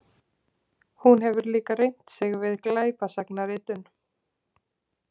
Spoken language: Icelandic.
Hún hefur líka reynt sig við glæpasagnaritun.